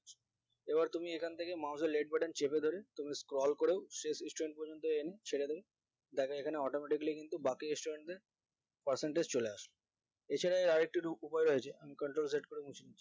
এবার তুমি এখান থেকে mouse এর left button চেপে ধরে তুমি scroll করো শেষ student পর্যন্ত ছেড়ে দেব দেখো এখানে automatically কিন্তু বাকি student দের percentage চলে আসে এছাড়া আরেকটি উপায় আছে